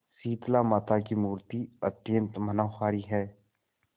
शीतलामाता की मूर्ति अत्यंत मनोहारी है